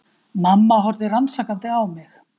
Mamma horfði rannsakandi á mig.